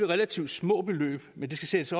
relativt små beløb men det skal sættes